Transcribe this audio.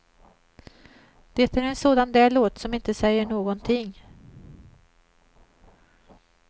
Det är en sådan där låt som inte säger någonting.